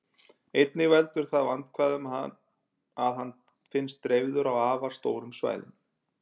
Einnig veldur það vandkvæðum að hann finnst dreifður á afar stórum svæðum.